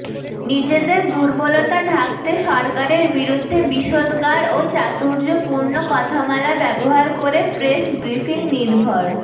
নিজেদের দুর্বলতা ঢাকতে সরকারের বিরুদ্ধে বিষোদগার ও চাতুর্যপূর্ণ কথামালা ব্যবহার করে প্রেস ব্রিফিংনির্ভর